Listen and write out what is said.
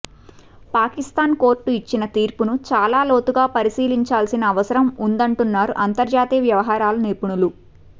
Pakistan court ఇచ్చిన తీర్పును చాలా లోతుగా పరిశీలించాల్సిన అవసరం ఉందంటున్నారు అంతర్జాతీయ వ్యవహారాల నిపుణులు